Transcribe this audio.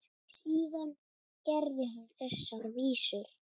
Síðar gerði hann þessar vísur